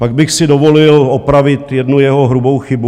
Pak bych si dovolil opravit jednu jeho hrubou chybu.